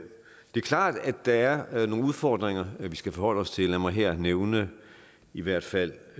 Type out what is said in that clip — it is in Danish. er klart at der er nogle udfordringer vi skal forholde os til lad mig her nævne i hvert fald